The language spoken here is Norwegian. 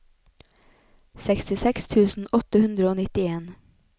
sekstiseks tusen åtte hundre og nittien